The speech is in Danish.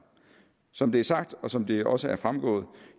som det er sagt og som det også er fremgået